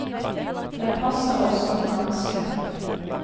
Den passer oss som en hanske.